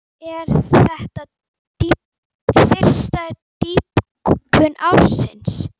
Er þetta fyrsta dýpkun ársins.